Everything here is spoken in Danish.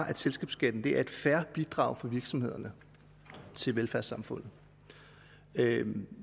at selskabsskatten er et fair bidrag fra virksomhederne til velfærdssamfundet